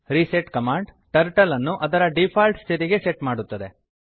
reset command turtle ಅನ್ನು ಅದರ default ಸ್ಥಿತಿಗೆ ಸೆಟ್ ಮಾಡುತ್ತದೆ